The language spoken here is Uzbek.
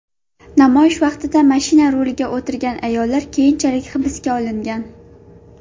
Namoyish vaqtida mashina ruliga o‘tirgan ayollar keyinchalik hibsga olingan.